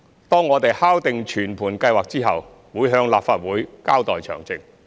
當我們敲定全盤計劃後，會向立法會交代詳情。